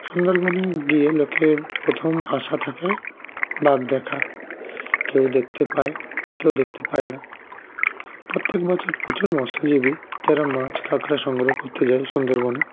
সুন্দরবন এ গিয়ে লোকের প্রথম আশা থাকে বাঘ দেখা কেউ দেখতে পায় কেউ দেখতে পায়ে না প্রত্যেক বছর প্রচুর মৎস্যজীবী যারা মাছ কাকরা সংগ্রহ করতে জায়ে সুন্দরবন